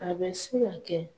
A bɛ se ka kɛ